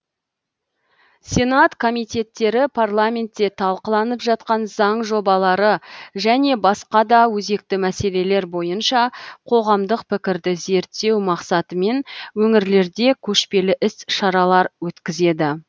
сенат комитеттері парламентте талқыланып жатқан заң жобалары және басқа да өзекті мәселелер бойынша қоғамдық пікірді зерттеу мақсатымен өңірлерде көшпелі іс шаралар өткізеді